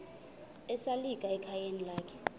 esalika ekhayeni lakhe